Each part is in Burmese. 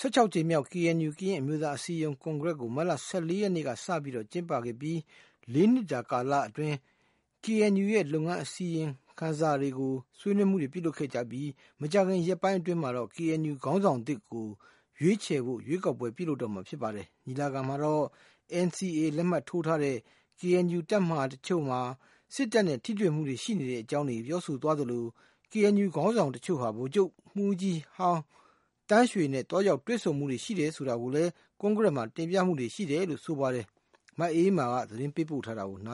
၁၆ ကြိမ်မြောက် KNU ကရင်အမျိုးသားအစည်းအရုံး ကွန်ကရက်ကို မတ်လ ၁၄ ရက် ကနေ စတင်ကျင်းပခဲ့ပြီး ၄ နှစ်တာ ကာလအတွင်း KNU ရဲ့ လုပ်ငန်းအစီရင်ခံစာတွေကို ဆွေးနွေးမူတွေလုပ်ခဲ့ပြီး မကြာခင် ရက်ပိုင်းမှာပဲ KNU က ခေါင်းဆောင်သစ်တွေကို ရွေးချယ်ဖို့ ရွေးကောက်ပွဲ လုပ်တော့မှာဖြစ်ပါတယ်။ ဒီညီလာခံမှာတော့ NCA လက်မှတ်ထိုးထားပေမဲ့ KNU တပ်မဟာတချို့မှာ စစ်တပ်နဲ့ ထိတွေ့မှုတွေ ရှိတဲ့အကြောင်းတွေ ပြောဆိုကြသလို၊ KNU ခေါင်းဆောင်တချို့ဟာ ဗိုလ်ချုပ်မှူးကြီးဟောင်း သန်းရွှေနဲ့ သွားရောက်တွေဆုံမူတွေ ရှိခဲ့တယ် ဆိုတာကို ကွန်ကရက်မှာ တင်ပြခဲ့တယ်လို့ ဆိုပါတယ်။ မအေးအေးမာက သတင်းပေးပို့ ထားပါတယ်။ က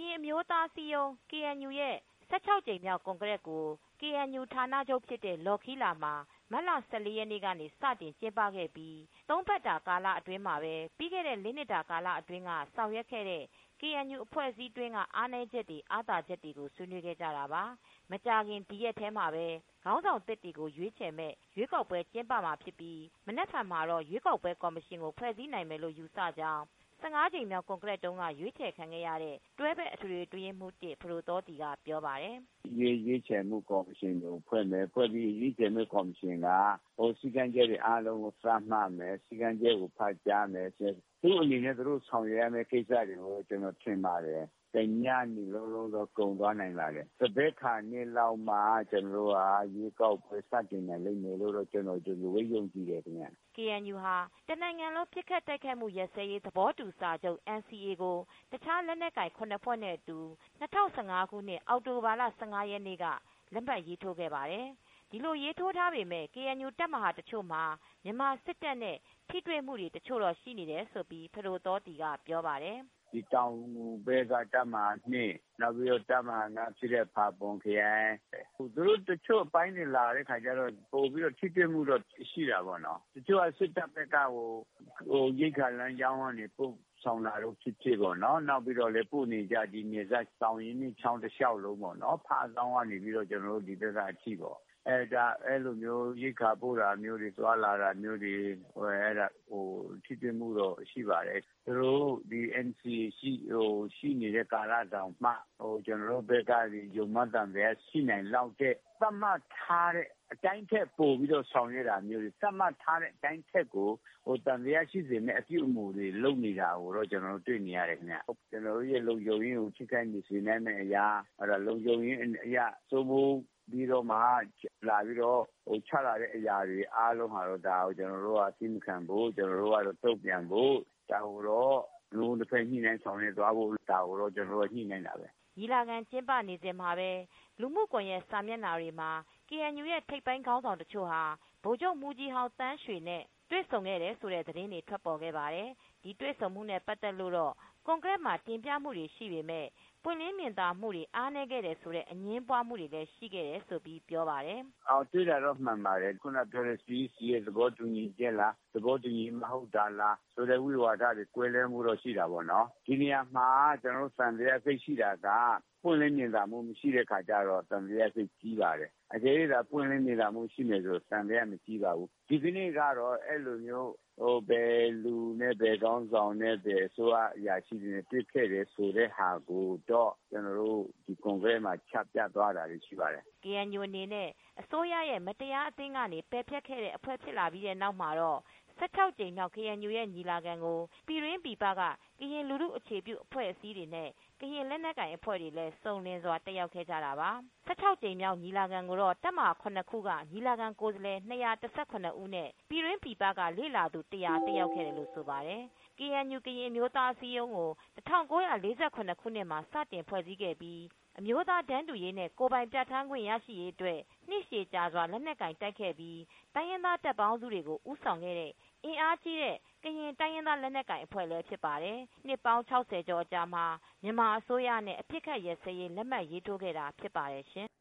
ရင် အမျိုးသားအစည်းအရုံး KNU ရဲ့ ၁၆ ကြိမ်မြောက်ကွန်ကရက်ကို KNU ဌာနချုပ်ဖြစ်တဲ့ လောခီးလာမှာ မတ်လ ၁၄ ရက်နေ့ကနေ စတင်ကျင်းပခဲ့ပြီး ၃ ပတ်တာ အတွင်း၊ ပြီးခဲ့တဲ့ ၄ နှစ်တာကာလအတွင်းက ဆောင်ရွက်ခဲ့တဲ့ KNU အဖွဲ့အစည်းအတွင်းက အားနည်းချက်တွေ အားသာချက်တွေကို ဆွေးနွေးခဲ့ကြတာပါ။ မကြာခင် ဒီရက်ပိုင်းထဲမှာပဲ ခေါင်းဆောင်သစ်တွေကို ရွေးချယ်မယ့် ရွေးကောက်ပွဲတွေ ကျင်းပမှာဖြစ်ပြီး မနက်ဖန်မှာတော့ ရွေးကောက်ပွဲကော်မရှင်ကို ဖွဲ့စည်းနိုင်မယ်လို့ ယူဆကြောင်း ၁၅ ကြိမ်မြောက် ကွန်ကရက်တုန်း ကရွေးချယ်ခံခဲ့ရတဲ့ တွဲဘက် အထွေထွေအတွင်းရေးမူး(၁) ဖဒိုသောသီက ပြောပါတယ်။ “ ခေါင်းဆောင်သစ် ရွေးချယ်မှုကော်မရှင်ကိုဖွဲ့မယ်၊ ဖွဲ့ပြီးရင် ရွေးချယ်မယ့်ကော်မရှင်က စည်းကမ်းချက်တွေ သတ်မှတ်မယ်၊ စည်းကမ်းချက်ကို ဖတ်ကြားမယ်။ သူတို့ဆောင်ရွက်ရမယ့် ကိစ္စတွေကတော့ တညနေလုံးလုံးတော့ ကုန်သွားနိုင်ပါတယ်။ သဘက်ခါလောက်မှ ကျနော်တို့က ရွေးကောက်ပွဲ စတင်နိုင်လိမ့်မယ်လို့ ယုံကြည်တယ် ” KNU ဟာ တနိုင်ငံလုံး ပစ်ခတ်တိုက်ခိုက်မှု ရပ်စဲရေးသဘောတူစာချုပ် NCA ကို တခြားလက်နက်ကိုင် ၇ ဖွဲ့နဲ့အတူ ၂၀၁၅ ခုနှစ် အောက်တိုဘာလ ၁၅ ရက်နေ့က လက်မှတ်ရေး ထိုးထားခဲ့ပါတယ်။ ဒီလိုရေးထိုး ထားပေမဲ့ KNU တပ်မဟာတချို့မှာ မြန်မာစစ်တပ်နဲ့ ထိတွေ့မှု့ရှိနေတယ်လို့ ဖဒိုသောသီက ပြောပါတယ်။ “ တောင်ငူဖက်က တပ်မဟာ ၂၊ နောက်ပြီး တပ်မဟာ ၅ ရှိတဲ့ ဖာပွန်ခရိုင်ပေါ့။ မြန်မာ စစ်တပ်က သူတို့ လာတဲ့အခါကျတော့ ပိုပြီး ထိတွေ့မှုတော့ ရှိတာပေ့ါ။ တချို့က စစ်တပ် ဖက်က ရိက္ခာလမ်းကြောင်းပို့ဆောင်တာ ဖြစ်ဖြစ်ပေါ့နော်၊ နောက်ပြီး သူတို့ပို့နေကျ ဒီနယ်စပ် သောင်ရင်းမြစ်ကြောင်း တလျှောက်လုံးပေါ့နော်။ ဖားဇောင်းကနေပြီး ကျနော်တို့ ဒီဖက်ကထိပေါ့၊ အဲလိုမျိုး ရိက္ခာပို့တာမျိုးတွေ သွားလာတာမျိုးတွေ အဲလိုခါမှာ ထိတွေ့ မှုတော့ ရှိပါတယ်။ ဒီ NCA လက်မှတ်ထိုးထားတာတောင်မှ ကျနော်တို့ဘက်တွေကနေ ယုံမှား သံသယ ရှိလာအောင်၊ သတ်မှတ်ထားတဲ့ အတိုင်းထက်ပိုကို သံသယရှိစေမယ့် အပြုအမူတွေ လုပ်နေတာကို ကျနော်တို့ တွေ့နေရတယ်။ ကျနော်တို့ရဲ့ လုံခြုံရေးကို ထိခိုက်စေနိုင်မယ့်အရာ လုံခြုံရေးအရ စိုးမိုးပြီးတော့မှ လာပြီးတော့ ချလာတဲ့အရာတွေ အားလုံးကိုတော့ဒါကို ကျနော်တို့က သည်းမခံဖို့ တုံ့ပြန်ဖို့ ၊ ဒါကို နှစ်ဦးနှစ်ဖက် ညှိနှိုင်းဆောင်ရွက်သွားဖို့ ဒါတွေကို ကျနော်တို့ ညှိနှိုင်းနေပါတယ် ” ညီလာခံ ကျင်းပနေစဉ်မှာပဲ လူမူကွန်ယက် စာမျက်နှာတွေမှာ KNU ရဲ့ထိပ်ပိုင်းခေါင်းဆောင် တချို့ဟာ ဗိုလ်ချုပ်မှူးကြီးဟောင်း သန်းရွှေနဲ့ တွေ့ဆုံခဲ့ကြတယ်လို့ သတင်းတွေ ထွက်ပေါ်ခဲ့ပါတယ်။ ဒီတွေ့ဆုံမှုနဲ့ ပတ်သက်လို့တော့ ကွန်ကရက်မှာ တင်ပြမှုရှိပေမဲ့ ပွင့်လင်းမြင်သာမှု အားနည်းတယ်ဆိုတဲ့ အငြင်းပွားဖွယ်ရာတွေ ရှိခဲ့တယ်လို့လည်း သူက ပြောပါတယ်။ “ တွေ့တာတော့မှန်ပါတယ်။ ခုနကပြောတဲ့ CEC ရဲ့သဘောတူညီချက်လား သဘောတူညီမှု မဟုတ်တာလား ဆိုတဲ့ ဝိဝါဒတွေ ကွဲလွဲမှုတော့ ရှိတာပေါ့။ ဒီနေရာမှာ ကျနော်တို့သံသယ သိပ်ရှိတာက ပွင့်လင်းမြင်သာမှု မရှိတဲ့အခါကျတော့ သံသယ သိပ်ကြီးပါတယ်။ အကယ်၍သာ ပွင့်လင်းမြင်သာမှု ရှိမယ်ဆိုရင် သံသယသိပ် မကြီး ပါဘူး။ ဒီကနေ့တော့ အဲလိုမျိုး ဘယ်သူနဲ့ ဘယ်ခေါင်းဆောင်နဲ့ ဘယ်အစိုးရ အရာရှိတွေနဲ့ တွေ့ခဲ့တယ် ဆိုတဲ့ဟာကိုတော့ ကျနော်တို့ ဒီကွန်ဂရက်မှာ ချပြသွားတာတွေ ရှိပါတယ်။ ” KNU ကို အစိုးရက မတရားအသင်းကနေ ပယ်ဖျက်ပေးလိုက်ပြီးနောက်မှာတော့ ၁၆ ကြိမ်မြောက် KNU ညီလာခံမှာ ပြည်တွင်းပြည်ပ ကရင်လူထုအခြေပြု အဖွဲ့အစည်းတွေနဲ့ ကရင်လက်နက်ကိုင် အဖွဲ့တွေ အစုံအလင် တက်ရောက်လာကြပါတယ်။ KNU ညီလာခံကို ၄ နှစ်တကြိမ် ကျင်းပခဲ့ပြီး ၁၆ ကြိမ်မြောက်ညီလာခံကို တပ်မဟာ ၇ ခုက ညီလာခံကိုယ်စားလှယ် ၂၁၇ ဦးနဲ့ ပြည်တွင်းပြည်ပ လေ့လာသူ ၁၀၀ တက်ရောက် ခဲ့တယ်လို့ ဆိုပါတယ်။ KNU ကရင်အမျိုးသားအစည်းအရုံးကို ၁၉၄၇ ခုနှစ်မှာ စတင် ဖွဲ့စည်းခဲ့ပြီး အမျိုးသားတန်းတူရေး၊ ကိုယ်ပိုင်ပြဌာန်းခွင့် ရရှိရေးအတွက် နှစ်ရှည်ကြာစွာ လက်နက်ကိုင် တိုက်ခဲ့တဲ့ အဖွဲ့ဖြစ်သလို၊တိုင်းရင်းသား တပ်ပေါင်းစုတွေကို ဦးဆောင်ခဲ့တဲ့ အင်အားကြီးတဲ့ ကရင်တိုင်းရင်းသားလက်နက်ကိုင်အဖွဲဖြစ်ပါတယ်။ နှစ်ပေါင်း ၆၀ ကျော် အကြာမှာ မြန်မာအစိုးရနဲ့ အပစ်အခပ် ရပ်စဲရေး လက်မှတ်ရေးထိုးခဲ့တာ ဖြစ်ပါတယ်ရှင်။